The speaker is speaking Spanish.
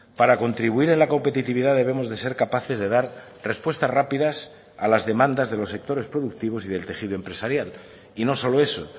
para contribuir en la competitividad debemos de ser capaces de dar respuestas rápidas a las demandas de los sectores productivos y del tejido empresarial y no solo eso